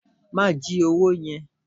Ma ji owó yẹn.